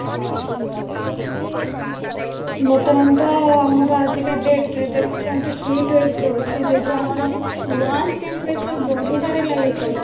ବର୍ତମାନ ତ ଆମର ଆଜିକା date ରେ ଦେଖୁଛନ୍ତି hit wave ଯୋଉ ଅଛି ଯେହେତୁ ଆମର world temperature ବଢିବାରେ ଲାଗିଛି